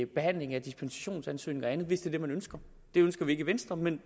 behandling af dispensationsansøgninger og andet hvis det er det man ønsker det ønsker vi ikke i venstre men